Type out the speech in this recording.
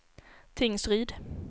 Tingsryd